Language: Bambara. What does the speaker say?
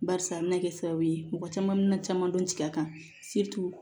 Barisa a bɛna kɛ sababu ye mɔgɔ caman bɛ na caman dɔn jigin a kan